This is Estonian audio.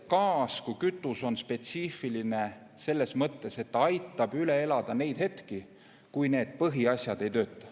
Gaas kui kütus on spetsiifiline selles mõttes, et aitab üle elada neid hetki, kui põhiasjad ei tööta.